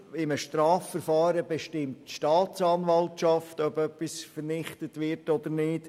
In einem Strafverfahren bestimmt nicht die Polizei, sondern die Staatsanwaltschaft, ob etwas vernichtet wird oder nicht.